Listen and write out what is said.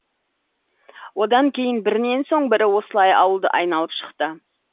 одан кейін бірінен соң бірі осылай ауылды айналып шықты